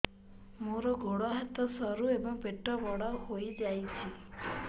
ମୋର ଗୋଡ ହାତ ସରୁ ଏବଂ ପେଟ ବଡ଼ ହୋଇଯାଇଛି